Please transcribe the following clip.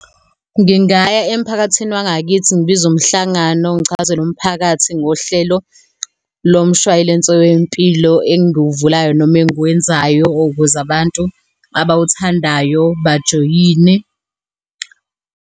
Ngingaya emphakathini wangakithi ngibize umhlangano, ngichazele umphakathi ngohlelo lomshwayilense wempilo engiwuvulayo noma enguwenzayo ukuze abantu abawuthandayo bajoyine.